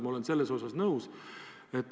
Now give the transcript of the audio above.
Ma olen sellega nõus.